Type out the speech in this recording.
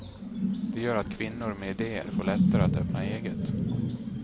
Det gör att kvinnor med idéer får det lättare att öppna eget.